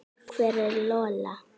Hver er Lola?